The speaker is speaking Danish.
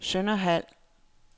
Sønderhald